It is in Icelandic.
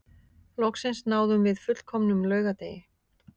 Loksins náðum við fullkomnum laugardegi